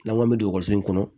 N'an k'an bɛ don waso in kɔnɔ